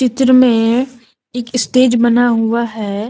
Picture में एक stage बना हुआ है।